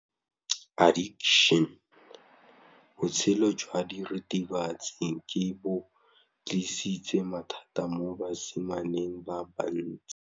Botshelo jwa diritibatsi ke bo tlisitse mathata mo basimaneng ba bantsi.